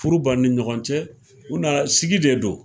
Furu ban ni ɲɔgɔn cɛ u nana sigi de don